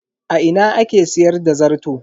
A ina ake siyar da zarto?